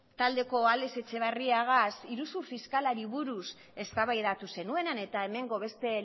taldeko alex etxeberriarekin iruzur fiskalari buruz eztabaidatu zenuena eta hemengo beste